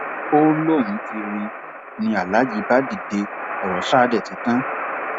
ó lóun ti rí i ni aláàjì bá dìde ọrọ sáà dé ti tán